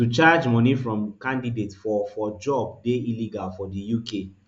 to charge money from candidates for for job dey illegal for di uk